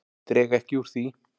Dreg ekki úr því.